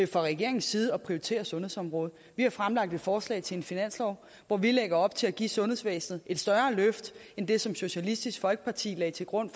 fra regeringens side at prioritere sundhedsområdet vi har fremlagt et forslag til finanslov hvor vi lægger op til at give sundhedsvæsenet et større løft end det som socialistisk folkeparti lagde til grund